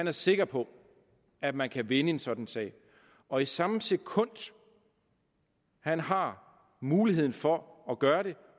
er sikker på at man kan vinde en sådan sag og i samme sekund han har muligheden for at gøre det